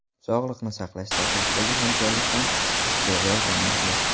Sog‘liqni saqlash sohasidagi hamkorlik ham izchil rivojlanmoqda.